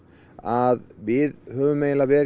að við höfum